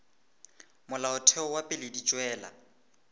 molaotheo wa pele di tšwela